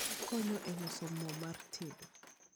Okonyo e loso mo mar tedo.